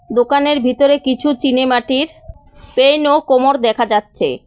দোকানের ভিতরে কিছু চিনে মাটির পেইন ও কোমর দেখা যাচ্ছে।